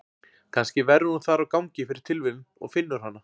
Kannski verður hún þar á gangi fyrir tilviljun og finnur hana.